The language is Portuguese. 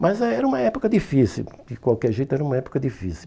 Mas aí era uma época difícil, de qualquer jeito era uma época difícil.